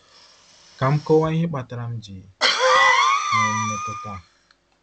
Ka m kọwaa ihe kpatara m ji nwee mmetụta a.